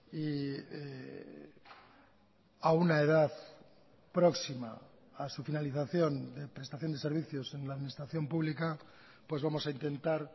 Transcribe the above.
y a una edad próxima a su finalización de prestación de servicios en la administración pública pues vamos a intentar